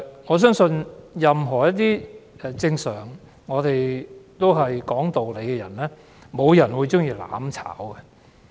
我相信，任何正常講道理的人，也不會喜歡"攬炒"的。